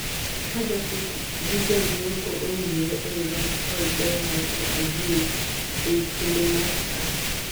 kaa jopith gi jo nyiepo owinjre ei rom kod ber mar AIVs ei kinde mar saa